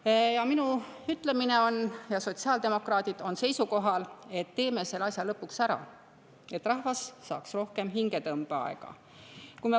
Ma ütlen ja sotsiaaldemokraadid on seisukohal, et teeme selle asja lõpuks ära, et rahvas saaks rohkem hingetõmbeaega.